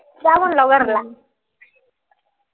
जा म्हणलो घरला